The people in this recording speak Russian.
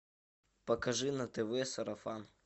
покажи на тв сарафан